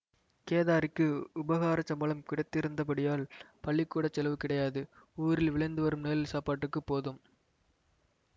கேதாரிக்கு உபகாரச் சம்பளம் கிடைத்திருந்தபடியால் பள்ளிக்கூடச் செலவு கிடையாது ஊரில் விளைந்து வரும் நெல் சாப்பாட்டுக்குப் போதும்